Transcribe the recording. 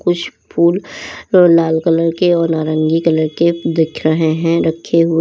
कुछ फूल लाल कलर के और नारंगी कलर के दिख रहे हैं रखे हुए।